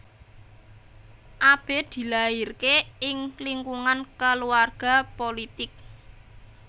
Abe dilahirke ing lingkungan keluarga pulitik